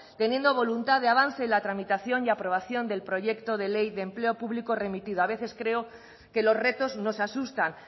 teniendo voluntad de avance en la tramitación y aprobación del proyecto de ley de empleo público remitido a veces creo que los retos nos asustan